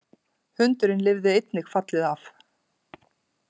Hundurinn lifði einnig fallið af